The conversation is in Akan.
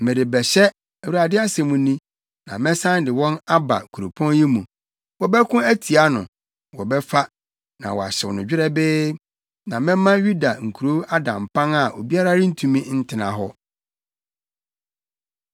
Merebɛhyɛ, Awurade asɛm ni, na mɛsan de wɔn aba kuropɔn yi mu. Wɔbɛko atia no, wɔbɛfa, na wɔahyew no dwerɛbee. Na mɛma Yuda nkurow ada mpan a obiara rentumi ntena hɔ.”